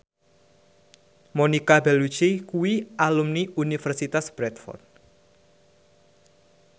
Monica Belluci kuwi alumni Universitas Bradford